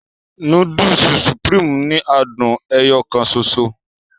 Núdùùsì "Supreme" ni àádùn ẹyọ kàn ṣoṣo.